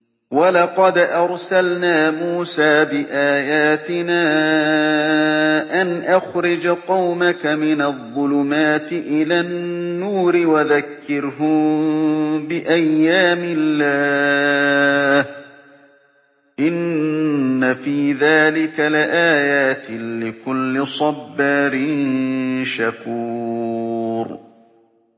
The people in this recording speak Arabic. وَلَقَدْ أَرْسَلْنَا مُوسَىٰ بِآيَاتِنَا أَنْ أَخْرِجْ قَوْمَكَ مِنَ الظُّلُمَاتِ إِلَى النُّورِ وَذَكِّرْهُم بِأَيَّامِ اللَّهِ ۚ إِنَّ فِي ذَٰلِكَ لَآيَاتٍ لِّكُلِّ صَبَّارٍ شَكُورٍ